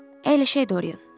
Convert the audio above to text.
Əyləşək Dorian.